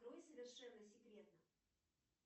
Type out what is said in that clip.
открой совершенно секретно